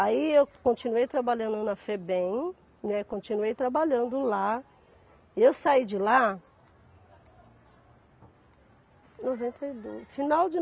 Aí eu continuei trabalhando na Febem, né, continuei trabalhando lá, e eu saí de lá noventa e dois, final de